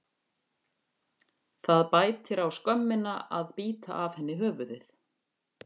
Það bætir á skömmina að bíta af henni höfuðið.